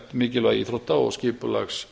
mikilvægi íþrótta og skipulags